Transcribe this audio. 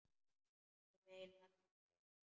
Ég meina, fyrir þig.